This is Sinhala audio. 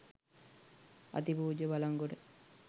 අතිපූජ්‍ය බළන්ගොඩ